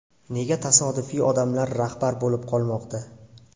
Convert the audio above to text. Nega tasodifiy odamlar rahbar bo‘lib qolmoqda?